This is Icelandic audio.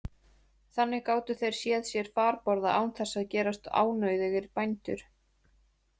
Þannig gátu þeir séð sér farborða án þess að gerast ánauðugir bændur.